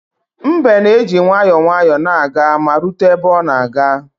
Mbe na-eji nwayọọ nwayọọ na-aga ma rute ebe ọ na-aga